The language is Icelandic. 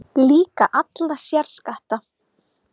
Líka alla sérskatta